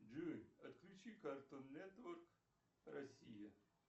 джой отключи картун нетворк россия